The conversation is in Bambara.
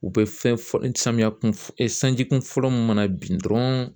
U bɛ fɛn fɔ samiya kun sanji kunfɔlɔ mun mana bin dɔrɔn